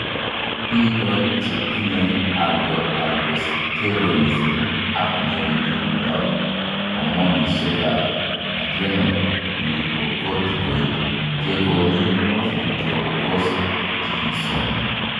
Biko che tinye hypoaldosteronism ak ng'ering'indoab homonoisiekab adrenal glucocorticoid kekoni fludrocortisone.